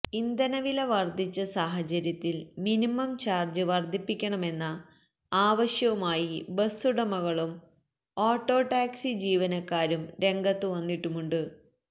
ഇന്ധനവില വര്ധിച്ച സാഹചര്യത്തില് മിനിമം ചാര്ജ് വര്ധിപ്പിക്കണമെന്ന ആവശ്യവുമായി ബസ്സുടമകളും ഓട്ടോടാക്സി ജീവനക്കാരും രംഗത്തുവന്നിട്ടുമുണ്ട്